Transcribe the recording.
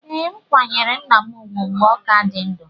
Ee, m kwanyere nna m ugwu mgbe ọ ka dị ndụ